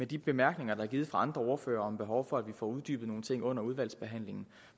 de bemærkninger der er givet fra andre ordførere om behovet for at få uddybet nogle ting under udvalgsbehandlingen